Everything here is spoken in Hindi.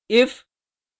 if